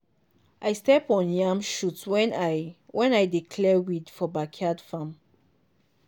i step on yam shoot when i when i dey clear weed for backyard farm.